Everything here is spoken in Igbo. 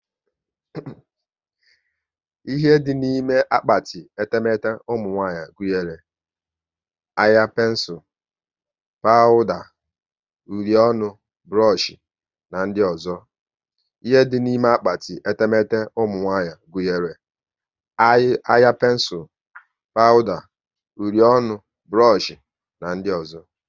Ihe dị n'ime akpati etemete ụmụnwanyị gunyere; anya pensul, pawuda, uri ọnụ, burush na ndị ọzọ